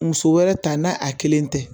Muso wɛrɛ ta n'a a kelen tɛ